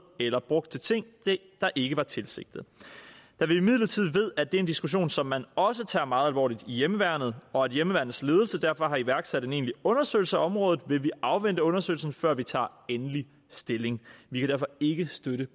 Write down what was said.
eller brugt til ting der ikke var tilsigtet da vi imidlertid ved at det er en diskussion som man også tager meget alvorligt i hjemmeværnet og at hjemmeværnets ledelse derfor har iværksat en egentlig undersøgelse af området vil vi afvente undersøgelsen før vi tager endelig stilling vi kan derfor ikke støtte